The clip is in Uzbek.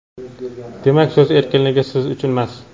demak so‘z erkinligi siz uchunmas.